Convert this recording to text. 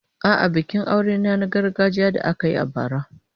A'a, bikin aurena na gargajiya da aka yi a bara.